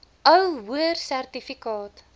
ou hoër sertifikaat